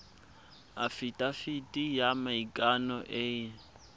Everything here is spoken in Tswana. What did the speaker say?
afitafiti ya maikano e e